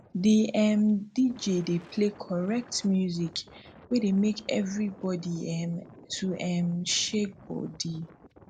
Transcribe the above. di um dj dey play correct music wey dey make everybodi um to um shake body